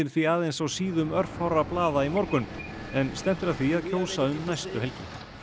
því aðeins á síðum örfárra blaða í morgun en stefnt er að því að kjósa um næstu helgi